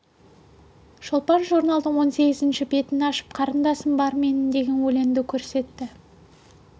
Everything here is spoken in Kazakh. шолпан журналдың он сегізінші бетін ашып қарындасым бар менің деген өлеңді көрсетті